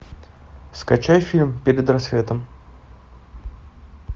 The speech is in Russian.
скачай фильм перед рассветом